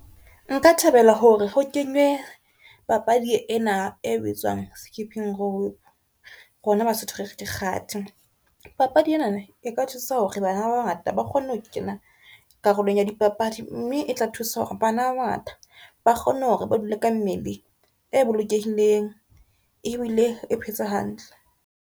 Nka thabela hore ho kenywe papadi ena e bitswang skipping rope, rona Basotho re re ke kgati papadi ena eka thusa hore bana ba bangata ba kgone ho kena karolong ya di papadi, mme e tla thusa hore bana ba bangata ba kgone hore ba dule ka mmele e bolokehileng ebile e phetse hantle.